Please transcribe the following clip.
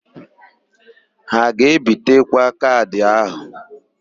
Ha a ga-ebitekwa kaadị áhụ̀?